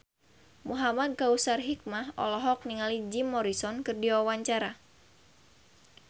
Muhamad Kautsar Hikmat olohok ningali Jim Morrison keur diwawancara